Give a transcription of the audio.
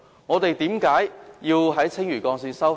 我們為何要在青嶼幹線收費？